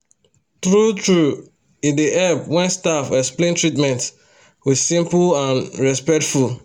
true-true e dey help when staff explain treatment with simple and respectful